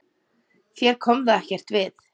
Þér kom það ekkert við!